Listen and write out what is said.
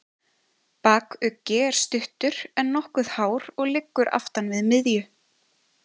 Bakuggi er stuttur, en nokkuð hár og liggur aftan við miðju.